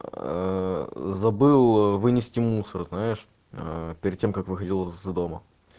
забыл вынести мусор знаешь перед тем как выходил из дома